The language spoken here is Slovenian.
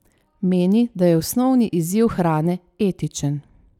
Meni, da je osnovni izziv hrane etičen.